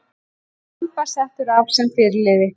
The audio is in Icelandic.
Samba settur af sem fyrirliði